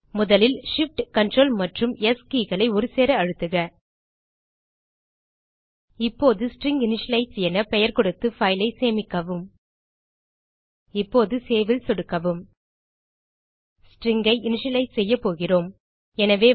முதலில் shift ctrl மற்றும் S keyகளை ஒருசேர அழுத்துக இப்போது ஸ்ட்ரிங்கினிஷியலைஸ் என பெயர் கொடுத்து பைல் ஐ சேமிக்கவும் இப்போது Saveல் சொடுக்கவும் ஸ்ட்ரிங் ஐ இனிஷியலைஸ் செய்ய போகிறோம்